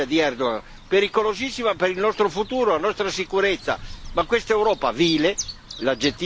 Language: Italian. Quindi è pericolosissima questa strategia di Erdogan, pericolosissima per il nostro futuro, per la nostra sicurezza.